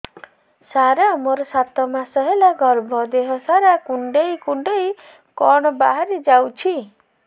ସାର ମୋର ସାତ ମାସ ହେଲା ଗର୍ଭ ଦେହ ସାରା କୁଂଡେଇ କୁଂଡେଇ କଣ ବାହାରି ଯାଉଛି